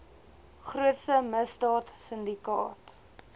grootste misdaad sindikaat